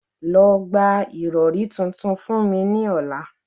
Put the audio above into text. Lọ gba irọri tuntun fun mi ni ọla